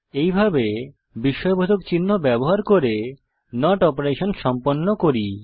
এইভাবে বিস্ময়বোধক চিহ্ন ব্যবহার করে নট অপারেশন সম্পন্ন করি